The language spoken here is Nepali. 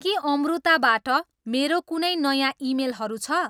के अम्रुताबाट मेरो कुनै नयाँ इमेलहरू छ